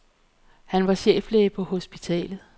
Han var cheflæge på hospitalet.